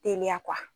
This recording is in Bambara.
Teliya kuwa